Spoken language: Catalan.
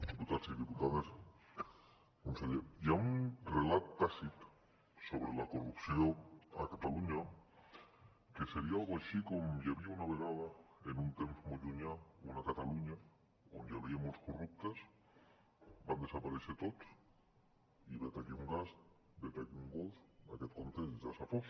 diputats i diputades conseller hi ha un relat tàcit sobre la corrupció a catalunya que seria una cosa així com hi havia una vegada en un temps molt llunyà una catalunya on hi havia molts corruptes van desaparèixer tots i vet aquí un gat vet aquí un gos aquest conte ja s’ha fos